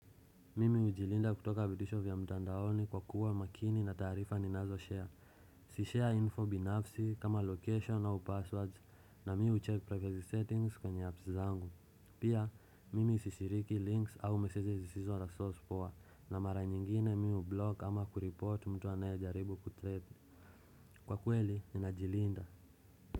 Mimi hujilinda kutoka vitisho vya mtandaoni kwa kuwa makini na taarifa ninazo share. Si share info binafsi kama location au passwords na mi hucheck privacy settings kwenye apps zangu. Pia, mimi sishiriki links au messages zisizo na source poa na mara nyingine mi hublock ama kureport mtu anayejaribu kutrade. Kwa kweli, ninajilinda.